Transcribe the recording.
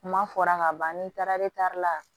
Kuma fɔra ka ban n'i taara e tari la